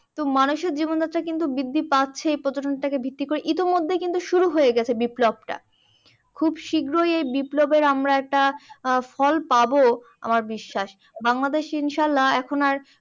তো মানুষের জীবনযাত্রা কিন্তু বৃদ্ধি পাচ্ছেই পর্যটনটাকে ভিত্তি করে। ইতিমধ্যেই কিন্তু শুরু হইয়ে গেছে বিপ্লবটা। খুব শিগ্রই এই বিপ্লবের আমরা একটা ফল পাব আমার বিশ্বাস। বাংলাদেশ ইনশাআল্লা এখন আর